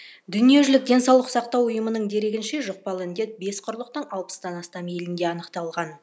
дүниежүзілік денсаулық сақтау ұйымының дерегінше жұқпалы індет бес құрлықтың алпыстан астам елінде анықталған